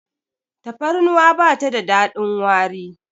tafarnuwa ba ta da dadin wari